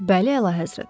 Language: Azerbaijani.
Bəli, əlahəzrət.